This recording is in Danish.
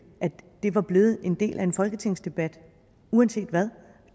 at det var blevet en del af en folketingsdebat uanset hvad